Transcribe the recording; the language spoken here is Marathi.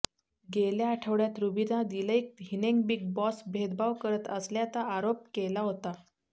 गेल्या आठवड्यात रुबीना दिलैक हिनेंबिग बॉस भेदभाव करत असल्याता आरोप केला होता